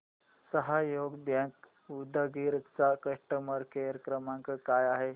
सहयोग बँक उदगीर चा customer care क्रमांक काय आहे